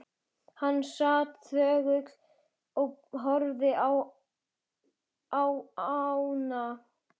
Hann sat þögull og horfði á ána.